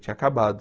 Tinha acabado.